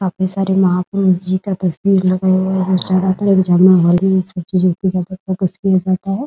काफी सारे महापुरुष जी का तस्वीर लगाया हुआ है । किया जाता है ।